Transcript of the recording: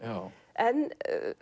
en